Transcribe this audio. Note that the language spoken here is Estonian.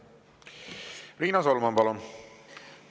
Riina Solman, palun!